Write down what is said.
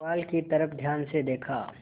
पुआल की तरफ ध्यान से देखा